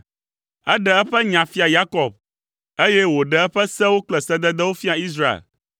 Eɖe eƒe nya fia Yakob eye wòɖe eƒe sewo kple sededewo fia Israel.